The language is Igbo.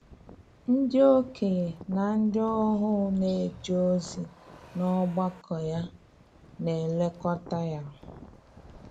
Ndị okenye na ndị ohu na-eje ozi n’ọgbakọ ya na-elekọta ya.